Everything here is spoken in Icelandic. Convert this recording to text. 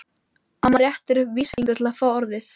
Amma réttir upp vísifingur til að fá orðið.